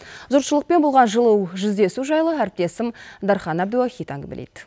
жұртшылықпен болған жылы жүздесу жайлы әріптесім дархан әбдіуахит әңгімелейді